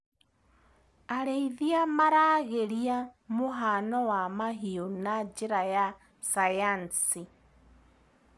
Arĩithia maragĩria mũhano wa mahiũ na njĩra ya sayansi.